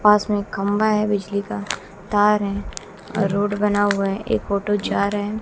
पास में खंभा है बिजली का तार है रोड बना हुआ है एक ऑटो जा रहा है।